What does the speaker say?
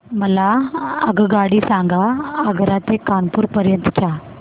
मला आगगाडी सांगा आग्रा ते कानपुर पर्यंत च्या